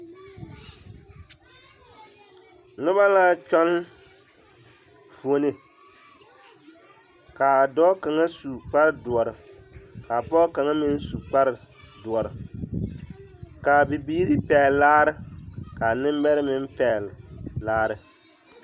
Noba la kyɔŋ fuolii k'a dɔɔ kaŋa su kpare doɔre ka pɔge kaŋa meŋ su kpare doɔre k'a bibiiri pɛgele laare k'a nembɛrɛ meŋ pɛgele laare.